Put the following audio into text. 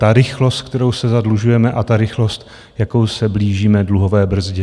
Ta rychlost, kterou se zadlužujeme, a ta rychlost, jakou se blížíme dluhové brzdě.